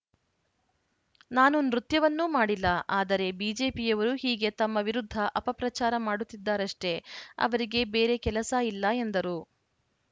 ನಾನು ನೃತ್ಯವನ್ನೂ ಮಾಡಿಲ್ಲ ಆದರೆ ಬಿಜೆಪಿಯವರು ಹೀಗೆ ತಮ್ಮ ವಿರುದ್ಧ ಅಪಪ್ರಚಾರ ಮಾಡುತ್ತಿದ್ದಾರಷ್ಟೇ ಅವರಿಗೆ ಬೇರೆ ಕೆಲಸ ಇಲ್ಲ ಎಂದರು